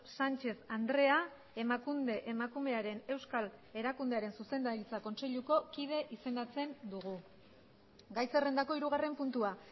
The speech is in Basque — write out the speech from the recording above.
sánchez andrea emakunde emakumearen euskal erakundearen zuzendaritza kontseiluko kide izendatzen dugu gai zerrendako hirugarren puntua